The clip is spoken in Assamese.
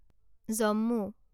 জম্মু